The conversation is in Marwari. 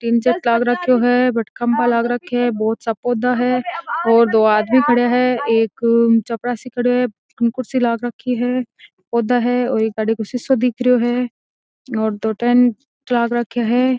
लाग रखयो है खम्बा लग रखो है बोहोत सा पौधा है और दो आदमी खड़या है एक चपरासी खडो है कुर्सी लाग रखी है पौधा है और एक गाड़ी काे शीशा दिख रो है दो टेंट लाग रखयो है।